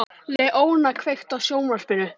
Leóna, kveiktu á sjónvarpinu.